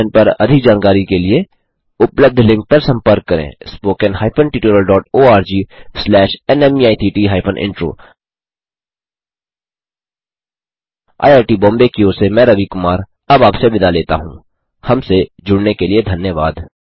इस मिशन पर अधिक जानकारी के लिए उपलब्ध लिंक पर संपर्क करें spoken hyphen tutorial dot ORG slash NMEICT hyphen intro IIT Bombay की ओर से मैं रवि कुमार अब आपसे विदा लेता हूँहमसे जुड़ने के लिए धन्यवाद